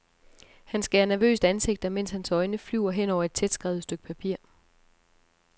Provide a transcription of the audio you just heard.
Han skærer nervøst ansigter, mens hans øjne flyver hen over et tætskrevet stykke papir.